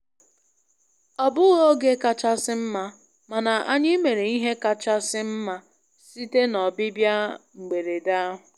Ọ bụghị oge kachasị mma, mana anyị mere ihe kachasị mma site na ọbịbịa mberede ahụ.